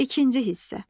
İkinci hissə.